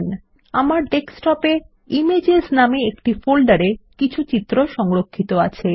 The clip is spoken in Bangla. ইতিমধ্যেই আমার ডেস্কটপে ইমেজেস নামে একটি ফোল্ডারে কিছু চিত্র সংরক্ষিত আছে